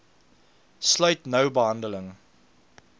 sluit nou behandeling